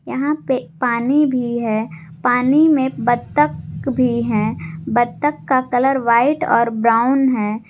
यहां पे पानी भी है पानी में बत्तख भी है बत्तख का कलर व्हाइट और ब्राउन है।